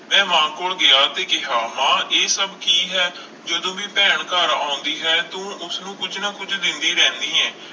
ਮੈਂ ਮਾਂ ਕੋਲ ਗਿਆ ਤੇ ਕਿਹਾ ਮਾਂ ਇਹ ਸਭ ਕੀ ਹੈ, ਜਦੋਂ ਵੀ ਭੈਣ ਘਰ ਆਉਂਦੀ ਹੈ ਤੂੰ ਉਸਨੂੰ ਕੁੱਝ ਨਾ ਕੁੱਝ ਦਿੰਦੀ ਰਹਿਨੀ ਹੈ।